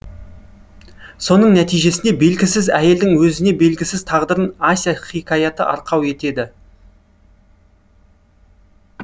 соның нәтижесінде белгісіз әйелдің өзіне белгісіз тағдырын ася хикаятына арқау етеді